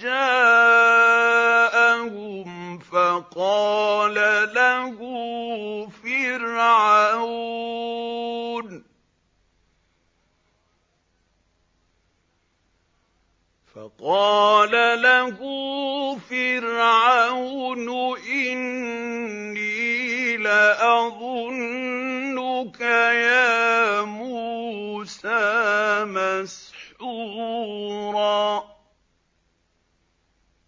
جَاءَهُمْ فَقَالَ لَهُ فِرْعَوْنُ إِنِّي لَأَظُنُّكَ يَا مُوسَىٰ مَسْحُورًا